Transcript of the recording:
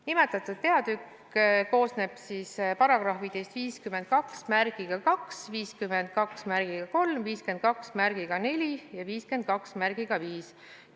Nimetatud peatükk koosneb paragrahvidest 522, 523, 524 ja 525.